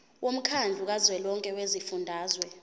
womkhandlu kazwelonke wezifundazwe